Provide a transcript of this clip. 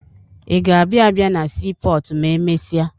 Ị ga-abịa abịa na siipọọtụ ma emesịa?